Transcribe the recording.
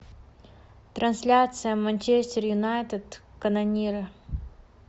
трансляция манчестер юнайтед канониры